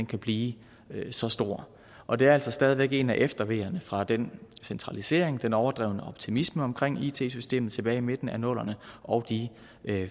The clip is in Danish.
kan blive så stor og det er altså stadig væk en af efterveerne fra den centralisering og den overdrevne optimisme omkring it systemet tilbage i midten af nullerne og de